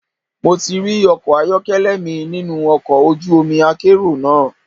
Mo ti rí ọkọ̀ ayọ́kẹ́lẹ́ mi nínú ọkọ̀ ojú omi akérò náà.